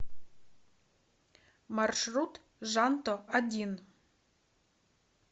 маршрут жанто один